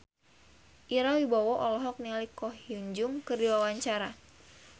Ira Wibowo olohok ningali Ko Hyun Jung keur diwawancara